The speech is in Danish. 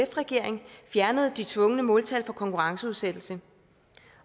regeringen fjernede de tvungne måltal for konkurrenceudsættelse